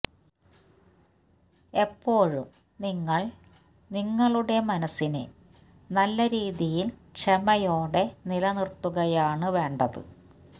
എപ്പോഴും നിങ്ങൾ നിങ്ങളുടെ മനസ്സിനെ നല്ല രീതിയിൽ ക്ഷമയോടെ നിലനിർത്തുകയാണ് വേണ്ടത്